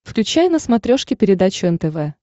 включай на смотрешке передачу нтв